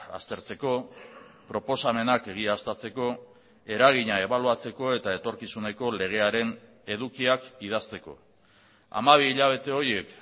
aztertzeko proposamenak egiaztatzeko eragina ebaluatzeko eta etorkizuneko legearen edukiak idazteko hamabi hilabete horiek